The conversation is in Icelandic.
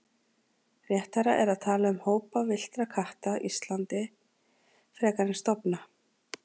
Réttara er að tala um hópa villtra katta Íslandi frekar en stofna.